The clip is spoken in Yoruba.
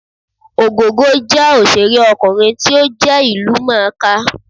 Ògògó jẹ́ òṣèré ọkùnrin tí ó jẹ́ ìlú mọ̀ọ́ kà